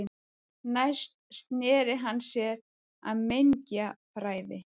Næst sneri hann sér að mengjafræði.